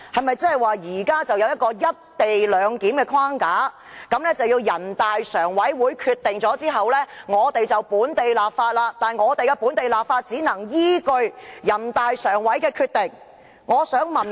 現在是否有一個"一地兩檢"框架，要在全國人大常委會作出決定後，我們才能進行本地立法，而且只能依據全國人大常委會的決定行事？